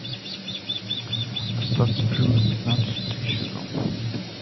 остаться в живых пятнадцатый сезон